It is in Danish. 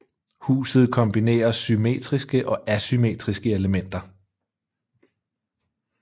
Huset kombinerer symmetriske og asymmetriske elementer